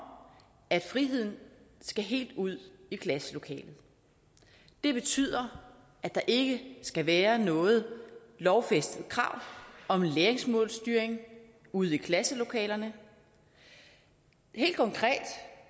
at friheden skal helt ud i klasselokalet det betyder at der ikke skal være noget lovfæstet krav om læringsmålstyring ude i klasselokalerne helt konkret